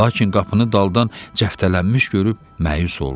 Lakin qapını daldan cəftələnmiş görüb məyus oldu.